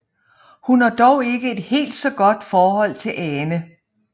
Hun har dog ikke et helt så godt forhold til Ane